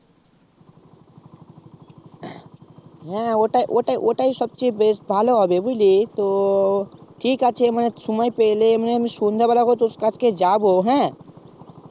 হ্যাঁ ওটাই ওটাই ওটাই সবচেয়ে বেশ ভালো হবে বুঝলি তো ঠিক আছে মানে সময় পেলে উম সন্ধ্যা বেলা করে তোর কাছকে যাবো হ্যাঁ